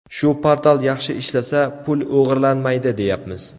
Shu portal yaxshi ishlasa, pul o‘g‘irlanmaydi, deyapmiz.